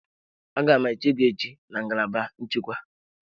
Aga m eche gị echi na ngalaba nchekwa.